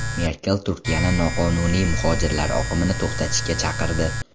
Merkel Turkiyani noqonuniy muhojirlar oqimini to‘xtatishga chaqirdi.